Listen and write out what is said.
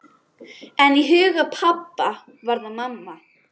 En í huga pabba var það mamma.